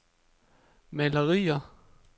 malerier